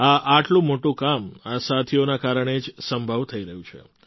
આ આટલું મોટું કામ આ સાથીઓના કારણે જ સંભવ થઈ રહ્યું છે